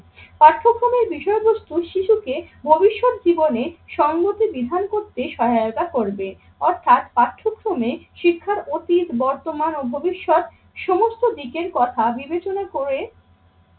পার্থক্রমের বিষয় বস্তু শিশুকে ভবিষ্যৎ জীবনে সঙ্গতি বিধান করতে সহায়তা করবে অর্থাৎ পাঠ্যক্রমে শিক্ষার অতীত, বর্তমান ও ভবিষ্যৎ সমস্ত দিকের কথা বিবেচনা করে